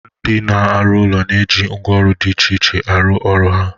Ndị na-arụ ụlọ na-eji ngwaọrụ dị iche iche arụ ọrụ ha